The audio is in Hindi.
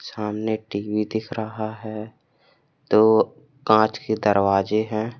सामने एक टी_वी दिख रहा है दो कांच के दरवाजे हैं।